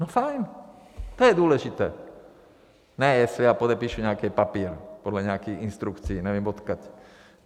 No fajn, to je důležité, ne jestli já podepíšu nějaký papír podle nějakých instrukcí nevím odkud.